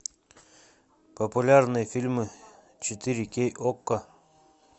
популярные фильмы четыре кей окко